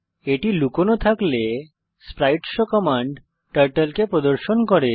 এটি লুকোনো থাকলে স্প্রাইটশো কমান্ড টার্টল কে প্রদর্শন করে